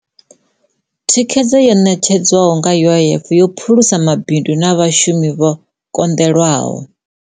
Thikhedzo yo ṋetshedzwaho nga UIF yo phulusa mabindu na vhashumi vha konḓelwaho.